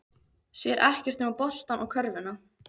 Sér ekkert nema boltann og körfuna.